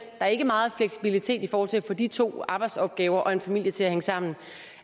er ikke meget fleksibilitet i forhold til at få de to arbejdsopgaver og en familie til at hænge sammen